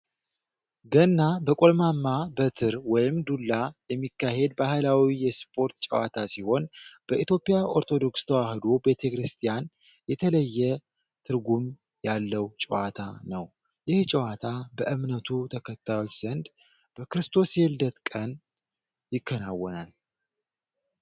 ገና በቆልማማ በትር (ዱላ) የሚካሄድ ባህላዊ የስፖርት ጨዋታ ሲሆን በኢትዮጵያ ኦርቶዶክስ ተዋህዶ ቤተክርስቲያን የተለየ ትርጉም ያለው ጨዋታ ነው። ይህ ጨዋታ በእምነቱ ተከታዮች ዘንድ በክርስቶስ የልደት ቀን ይከናወናል።